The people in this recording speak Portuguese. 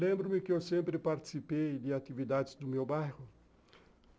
Lembro-me que eu sempre participei de atividades do meu bairro.